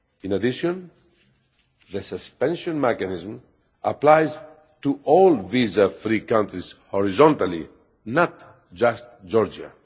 In addition, the suspension mechanism applies to all visa free countries horizontally, not just to Georgia.